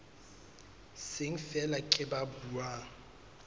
seng feela ke ba buang